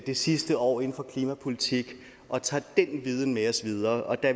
det sidste år inden for klimapolitik og tager den viden med os videre og der